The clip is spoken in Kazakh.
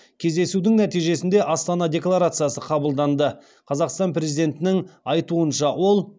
кездесудің нәтижесінде астана декларациясы қабылданды қазақстан президентінің айтуынша ол